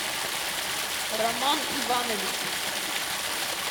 роман иванович